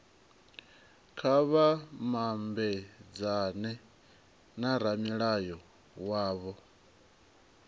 kha vha mabedzane na ramulayo wavho